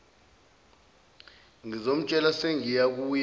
ngizomtshela sengiya kuyeke